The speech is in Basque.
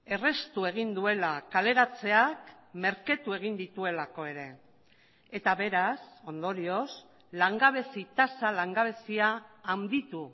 erraztu egin duela kaleratzeak merketu egin dituelako ere eta beraz ondorioz langabezi tasa langabezia handitu